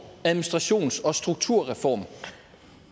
administrations og strukturreform